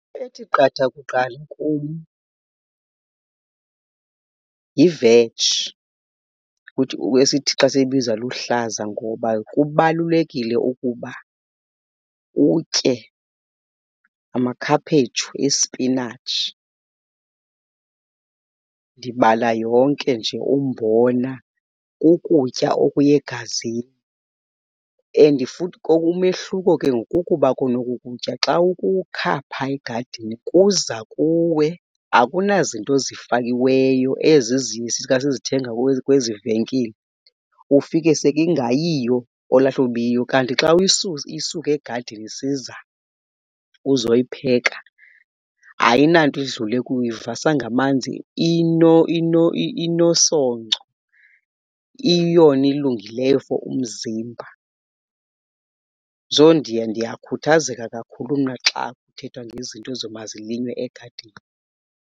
Ethi qatha kuqala kum yiveji esithi xa siyibiza luhlaza ngoba kubalulekile ukuba utye amakhaphetshu, ispinatshi. Ndibala yonke nje, umbona, kukutya okuya egazini and futhi umehluko ke ngoku kukuba kona oku kutya xa ukukha phaa egadini kuza kuwe akunazinto zifakiweyo ezi sifika sizithenga kwezi venkile ufike sekingayiyo olwaa hlobo ibiyiyo. Kanti xa uyisusa, isuka egadini isiza, uzoyipheka ayinanto idlule kuyo. Uyivasa ngamanzi, inosoco iyiyona ilungileyo for umzimba. So, ndiya ndiyakhuthazeka kakhulu mna xa kuthethwa ngezinto ezo mazilinywe egadini.